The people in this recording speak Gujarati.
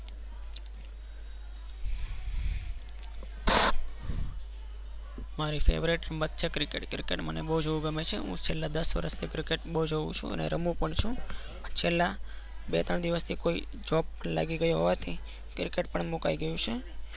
મારી favourite રમત છે. cricket મને બૌજ જોવી game છે. છેલ્લા દસ વર્ષ થી cricket જોવુચું અને રમું પણ છુ. છેલ્લા બે ત્રણ દિવસ થી કોઈ Job લગિ ગયી હોવાથી cricket મૂકી ગઈ છે.